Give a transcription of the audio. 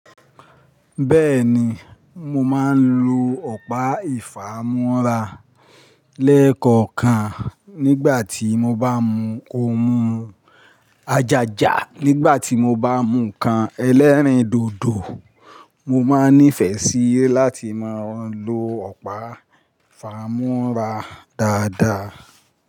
Bẹ́ẹ̀ni, mo máa ń lo ọ̀pá ìfámú́ra lẹ́ẹ̀kọ̀kan nígbà tí mo bá mu ohun ajaja, nígbà tí mo bá mu ǹkan ẹlẹ́rìndòdò, mo máa nífẹ̀ẹ́ síi láti máa ń lo ọ̀pá ìfámú́ra dáadáa.